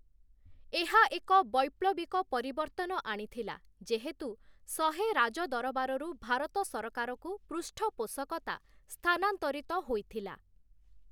ଏହା ଏକ ବୈପ୍ଳବିକ ପରିବର୍ତ୍ତନ ଆଣିଥିଲା ଯେହେତୁ, ଶହେ ରାଜଦରବାରରୁ ଭାରତ ସରକାରକୁ ପୃଷ୍ଠପୋଷକତା ସ୍ଥାନାନ୍ତରିତ ହୋଇଥିଲା ।